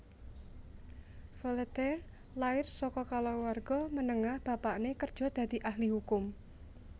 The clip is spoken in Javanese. Volataire lair saka kaluwarga menengah bapakné kerja dadi ahli hukum